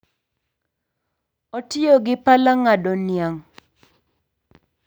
Otiyo gi pala ng'ado niang'